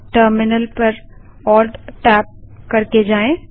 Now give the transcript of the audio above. terminal ALTTab पर जाएँ